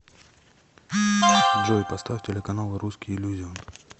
джой поставь телеканал русский иллюзион